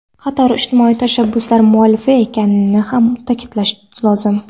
qator ijtimoiy tashabbuslar muallifi ekanini ham ta’kidlash lozim.